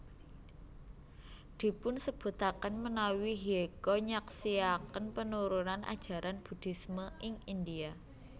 Dipunsebutaken menawi Hyecho nyaksiaken penurunan ajaran Buddhisme ing India